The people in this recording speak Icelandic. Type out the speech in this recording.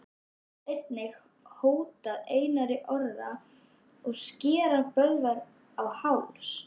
Sjá einnig: Hótaði Einar Orri að skera Böðvar á háls?